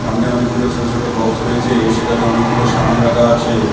অনেকগুলো ছোটো ছোটো বক্স রয়েছে সেখানে অনেকগুলো সামান রাখা আছে।